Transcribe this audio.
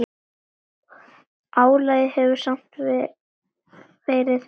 Álagið hefur samt verið mikið.